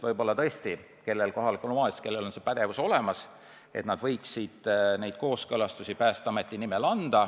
Vahest osal kohalikel omavalitsustel on pädevus neid kooskõlastusi Päästeameti nimel anda.